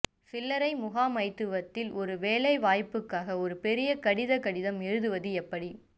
சில்லறை முகாமைத்துவத்தில் ஒரு வேலைவாய்ப்புக்காக ஒரு பெரிய கடித கடிதம் எழுதுவது எப்படி